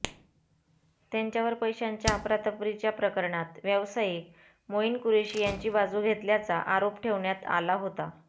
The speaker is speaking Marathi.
त्यांच्यावर पैशांच्या अफरातफरीच्या प्रकरणात व्यवसायिक मोईन कुरेशी यांची बाजू घेतल्याचा आरोप ठेवण्यात आला होता